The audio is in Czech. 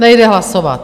Nejde hlasovat.